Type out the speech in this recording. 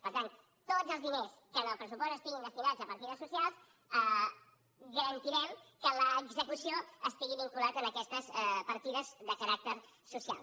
per tant tots els diners que en el pressupost estiguin destinats a partides socials garantirem que en l’execució estiguin vinculats a aquestes partides de caràcter social